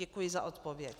Děkuji za odpověď.